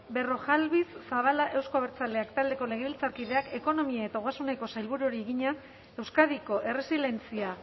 berrojalbiz zabala euzko abertzaleak taldeko legebiltzarkideak ekonomia eta ogasuneko sailburuari egina euskadiko erresilientzia